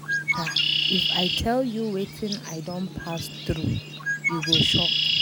My sister, if I tell you wetin I don pass through you go shock.